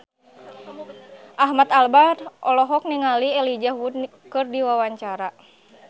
Ahmad Albar olohok ningali Elijah Wood keur diwawancara